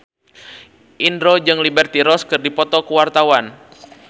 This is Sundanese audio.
Indro jeung Liberty Ross keur dipoto ku wartawan